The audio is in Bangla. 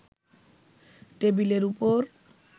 টেবিলের ওপর